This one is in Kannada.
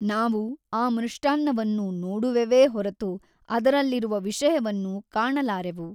ನಾವು ಆ ಮೃಷ್ಟಾನ್ನವನ್ನು ನೋಡುವೆವೇ ಹೊರತು ಅದರಲ್ಲಿರುವ ವಿಷಯವನ್ನು ಕಾಣಲಾರೆವು.